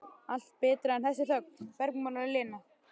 Allt betra en þessi þögn, bergmálar Lena.